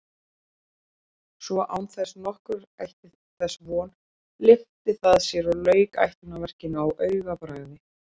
Svo án þess nokkur ætti þess von lyfti það sér og lauk ætlunarverkinu á augabragði.